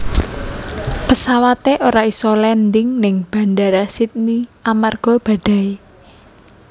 Pesawate ora iso landing ning Bandara Sydney amarga badai